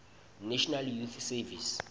national youth service